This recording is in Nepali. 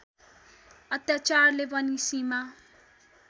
अत्याचारले पनि सीमा